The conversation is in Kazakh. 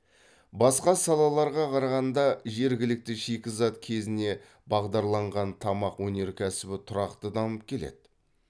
басқа салаларға қарағанда жергілікті шикізат кезіне бағдарланған тамақ енеркәсібі тұрақты дамып келеді